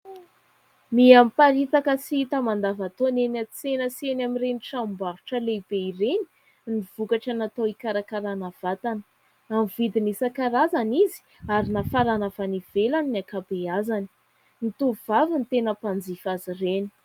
Mihamiparitaka sy hita mandavantaona eny an-tsena sy eny amin'ireny tranombarotra lehibe ireny ny vokatra natao hikarakarana vatana, amin'ny vidiny isan-karazany izy ary nafarana avy any ivelany ny ankabeazany. Ny tovovavy ny tena mpanjifa azy ireny.